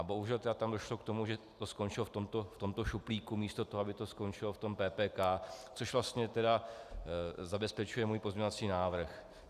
A bohužel tedy tam došlo k tomu, že to skončilo v tomto šuplíku, místo toho, aby to skončilo v tom PPK, což vlastně tedy zabezpečuje můj pozměňovací návrh.